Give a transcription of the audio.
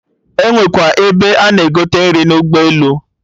Enwekwa ebe a na-egote nri n'ụlọ ụgbọ elu?